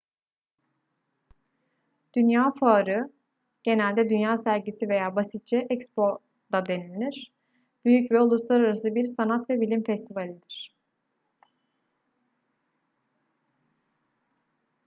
dünya fuarı genelde dünya sergisi veya basitçe expo da denilir büyük ve uluslararası bir sanat ve bilim festivalidir